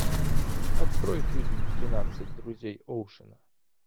открой фильм тринадцать друзей оушена